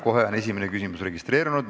Kohe on esimene küsija registreerunud.